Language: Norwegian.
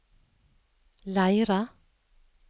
Leira